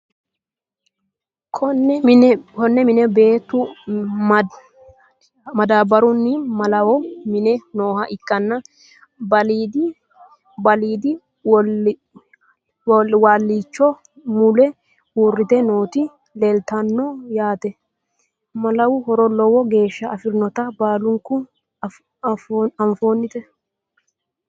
Konne mine beettu madaabarunni malawu minne nooha ikkanna balide waalichoho mule uuritte nootti leelittanno yaatte. Malawu horo lowo geeshsha afirinnotta baallunku affinnotte